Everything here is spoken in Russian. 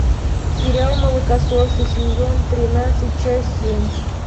сериал молокососы сезон тринадцать часть семь